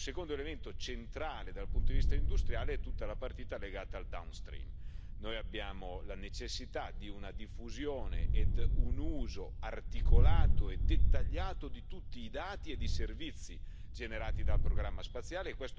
Un secondo elemento centrale dal punto di vista industriale è tutta la partita legata al downstream noi abbiamo la necessità di una diffusione e un uso articolato e dettagliato di tutti i dati e i servizi generati dal programma spaziale.